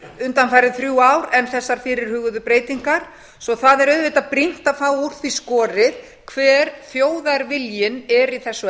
undanfarin þrjú ár en þessar fyrirhuguðu breytingar svo það er auðvitað brýnt að fá úr því skorið hver þjóðarviljinn er í þessu